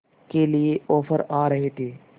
के लिए ऑफर आ रहे थे